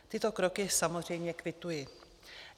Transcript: Tyto kroky samozřejmě kvituji.